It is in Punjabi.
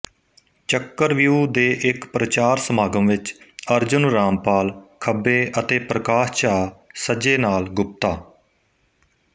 ਚੱਕਰਵਿਊਹ ਦੇ ਇੱਕ ਪ੍ਰਚਾਰ ਸਮਾਗਮ ਵਿੱਚ ਅਰਜੁਨ ਰਾਮਪਾਲ ਖੱਬੇ ਅਤੇ ਪ੍ਰਕਾਸ਼ ਝਾਅ ਸੱਜੇ ਨਾਲ ਗੁਪਤਾ